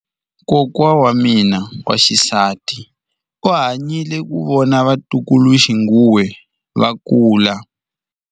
Kokwa wa mina wa xisati u hanyile ku vona vatukuluxinghuwe va kula.